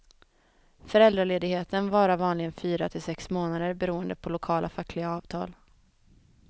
Föräldraledigheten varar vanligen fyra till sex månader beroende på lokala fackliga avtal.